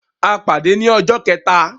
A pade ni ọjọ kẹta.